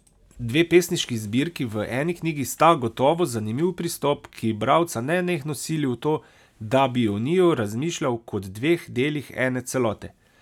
Dve pesniški zbirki v eni knjigi sta gotovo zanimiv pristop, ki bralca nenehno sili v to, da bi o njiju razmišljal kot dveh delih ene celote.